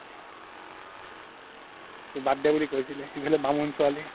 বাদ দে বুলি কৈছিলে বামুন ছোৱালি